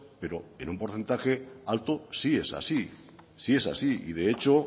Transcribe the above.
pero en un porcentaje alto sí es así sí es así y de hecho